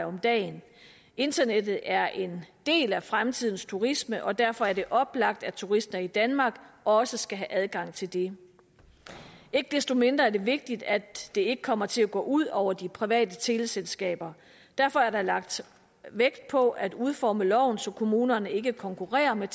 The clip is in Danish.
om dagen internettet er en del af fremtidens turisme og derfor er det oplagt at turister i danmark også skal have adgang til det ikke desto mindre er det vigtigt at det ikke kommer til at gå ud over de private teleselskaber derfor er der lagt vægt på at udforme loven så kommunerne ikke konkurrerer med